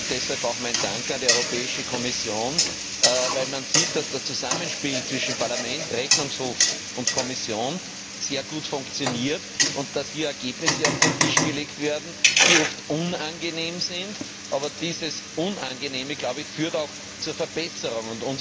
Deshalb auch mein Dank an die Kommission, weil man sieht, dass das Zusammenspiel zwischen Parlament, Rechnungshof und Kommission sehr gut funktioniert, dass hier Ergebnisse auf den Tisch gelegt werden, die oft unangenehm sind, aber dieses Unangenehme, glaube ich, führt auch zu einer Verbesserung.